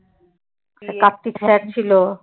কার্ত্তিক sir ছিল।